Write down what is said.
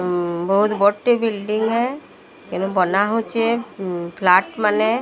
ଉଁ ବହୁତ ବଡ଼ଟେ ବିଲଡିଂ ହେ କିନ୍ତୁ ବନା ହେଉଚି ଫ୍ଲାଟ ମାନେ --